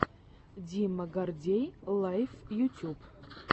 дима гордей лайв ютюб